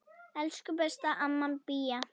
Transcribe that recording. Elsku besta amma Bía.